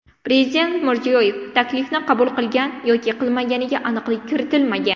Prezident Mirziyoyev taklifni qabul qilgan yoki qilmaganiga aniqlik kiritilmagan.